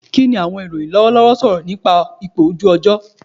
Kini awọn iroyin lọwọlọwọ sọrọ nipa ipo oju ojo